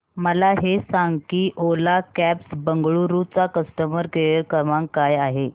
मला हे सांग की ओला कॅब्स बंगळुरू चा कस्टमर केअर क्रमांक काय आहे